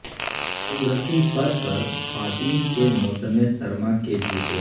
قدرتی فر پر خواتین کے موسم سرما کے جوتے